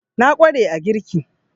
Na ƙware a girki